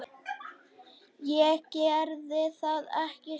Ég gerði það, hægri snú.